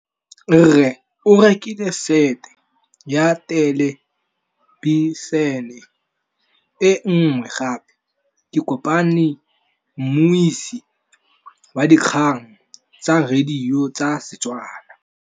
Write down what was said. Rre o rekile sete ya thêlêbišênê e nngwe gape. Ke kopane mmuisi w dikgang tsa radio tsa Setswana.